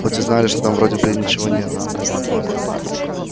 хоть и знали что там вроде бы ничего нет